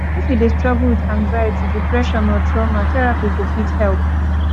if you dey struggle with anxiety depression or truama therapy go fit help